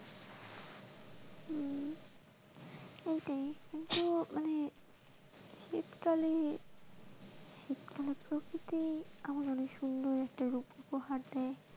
এটাই কিন্তু মানে শীতকালে প্রকৃতি আবার অনেক সুন্দর রূপ উপহার দেয়।